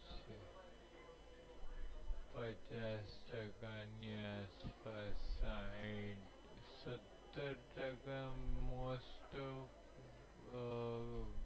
પચાસ ટકા ની આસ પાસ સાહીઠ સત્તર ટકા most of